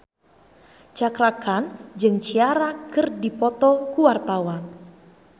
Cakra Khan jeung Ciara keur dipoto ku wartawan